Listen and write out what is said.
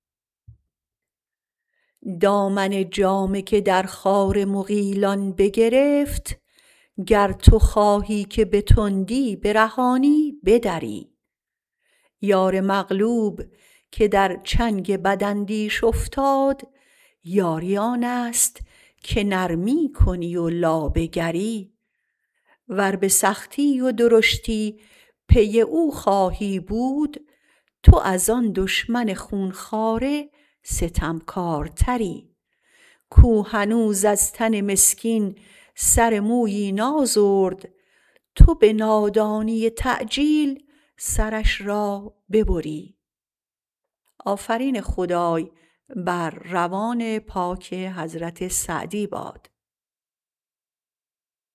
دامن جامه که در خار مغیلان بگرفت گر تو خواهی که به تندی برهانی بدری یار مغلوب که در چنگ بداندیش افتاد یاری آنست که نرمی کنی و لابه گری ور به سختی و درشتی پی او خوای بود تو از ان دشمن خونخواره ستمکارتری کو هنوز از تن مسکین سر مویی نازرد تو به نادانی تعجیل سرش را ببری